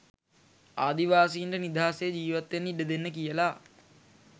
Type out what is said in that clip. ආදිවාසීන්ට නිදහසේ ජීවත්වෙන්න ඉඩදෙන්න කියලා.